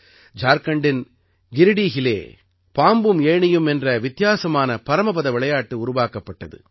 ஜார்க்கண்டின் கிரிடீஹிலே பாம்பும் ஏணியும் என்ற வித்தியாசமான பரமபத விளையாட்டு உருவாக்கப்பட்டது